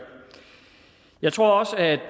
jeg tror også at